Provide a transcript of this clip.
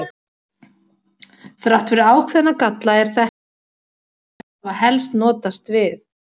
Þrátt fyrir ákveðna galla er þetta því aðferðin sem menn hafa helst notast við.